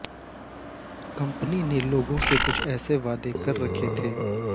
company ने लोगों से कुछ ऐसे वादे कर रखे थे